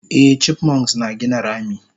Eh chipmunks na gina rami